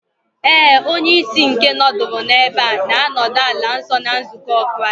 ,Éè, onye-ìsì nke nọduru n'ebe a, nānọdu ala nso na nzukọ Kraist.